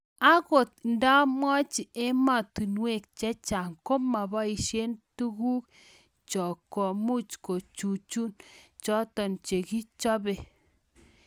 Angot ndamwachii emotunweek chechanga komapaishee tuguk chook komuuch kichuchuuch chotok chekichopeee